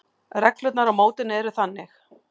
Reglurnar á mótinu eru þannig: